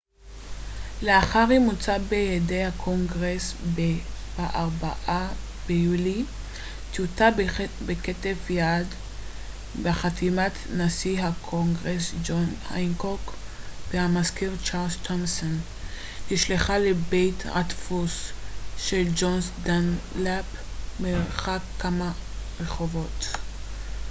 לאחר אימוצה בידי הקונגרס ב-4 ביולי טיוטה בכתב יד בחתימת נשיא הקונגרס ג'ון הנקוק והמזכיר צ'רלס תומסון נשלחה לבית הדפוס של ג'ון דנלאפ מרחק כמה רחובות